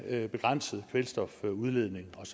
at de begrænsede kvælstofudledningen og